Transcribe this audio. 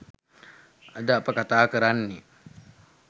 අද අප කතා කරන්නේ